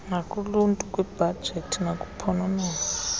nakuluntu kwibhajethi nakuphononongo